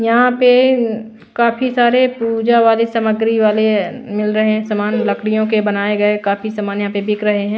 यहां पे काफी सारे पूजा वाले सामग्री वाले अ मिल रहे हैं सामान लकड़ियों के बनाए गए काफी सामान यहां पे बिक रहे हैं।